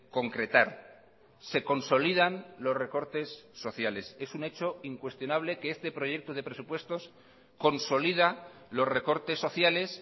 concretar se consolidan los recortes sociales es un hecho incuestionable que este proyecto de presupuestos consolida los recortes sociales